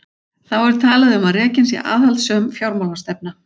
Þá er talað um að rekin sé aðhaldssöm fjármálastefna.